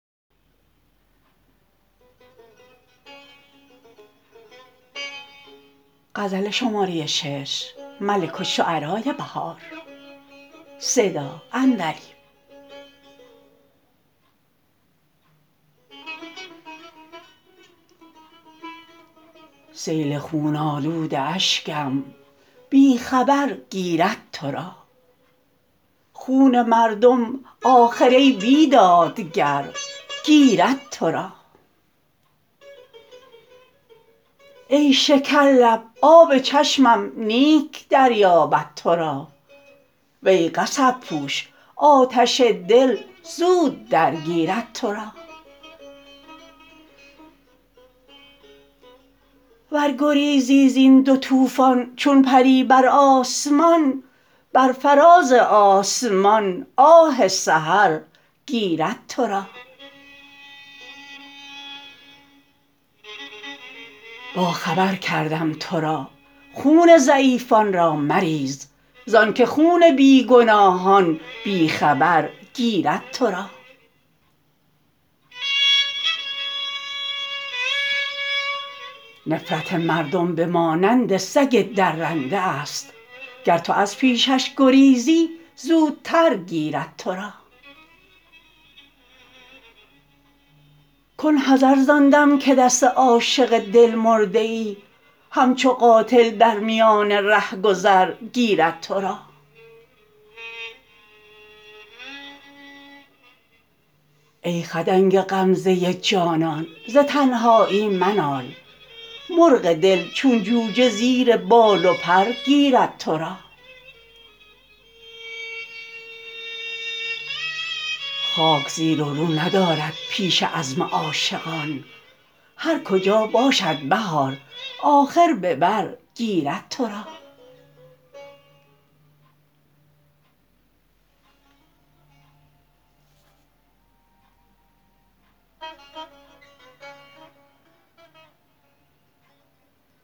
سیل خون آلود اشکم بی خبر گیرد تو را خون مردم آخر ای بیدادگر گیرد تو را ای شکرلب آب چشمم نیک دریابد تو را وی قصب پوش آتش دل زود درگیرد تو را ور گریزی زین دو طوفان چون پری بر آسمان بر فراز آسمان آه سحر گیرد تو را باخبر کردم تو را خون ضعیفان را مریز زان که خون بی گناهان بی خبر گیرد تو را نفرت مردم به مانند سگ درنده است گر تو از پیشش گریزی زودتر گیرد تو را کن حذر زان دم که دست عاشق دلمرده ای همچو قاتل در میان رهگذر گیرد تو را ای خدنگ غمزه جانان ز تنهایی منال مرغ دل چون جوجه زیر بال و پر گیرد تو را خاک زیر و رو ندارد پیش عزم عاشقان هر کجا باشد بهار آخر به بر گیرد تو را